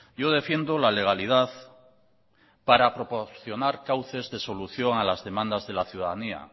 yo defiendo la legalidad para proporcionar cauces de solución a las demandas de la ciudadanía